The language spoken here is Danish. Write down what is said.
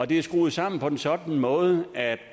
det er skruet sammen på en sådan måde at